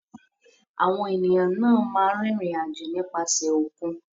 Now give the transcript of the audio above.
Àwọn ènìyàn náà máa ń rìnrìn-àjò nípasẹ̀ òkun.